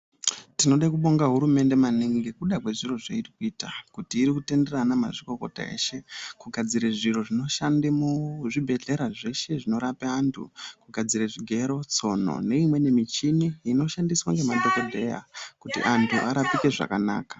Tinoda kubonga hurumende maningi ngekuda kwezviro zvairi kuita kuti iri kutendera anamazvikokota kugadzire zviro zvinoshanda muzvibhedhlera zvose zvinorapa antu. Kugadzira zvigero, tsona neimweni michini inoshandiswa ngemadhokodheya kuti antu arapike zvakanaka.